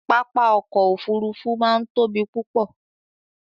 papá ọ̀kọ̀ ofúrúfú máa ń tóbi púpọ̀